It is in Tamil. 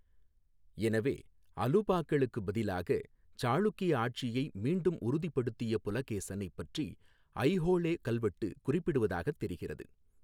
எனவே, அலுபாக்களுக்கு பதிலாக சாளுக்கிய ஆட்சியை மீண்டும் உறுதிப்படுத்திய புலகேசனை பற்றி ஐஹோளே கல்வெட்டு குறிப்பிடுவதாகத் தெரிகிறது.